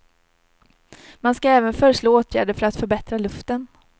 Man ska även föreslå åtgärder för att förbättra luften.